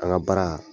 An ka baara